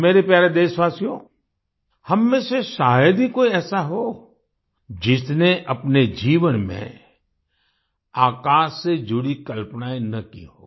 मेरे प्यारे देशवासियो हम में से शायद ही कोई ऐसा हो जिसने अपने जीवन में आकाश से जुड़ी कल्पनाएँ न की हों